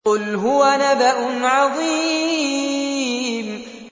قُلْ هُوَ نَبَأٌ عَظِيمٌ